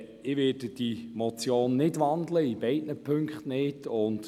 Ich werde die Motion in beiden Punkten nicht wandeln.